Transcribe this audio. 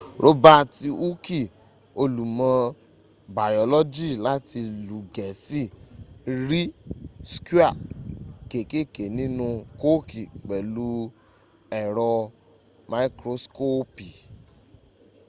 robaati hooki olùmọ̀ bayọ́lọ́jì láti ìlú gẹ̀ẹ́sì ri skwia kekeke ninu kooki pẹ̀lú ẹ̀rọ mikroskopi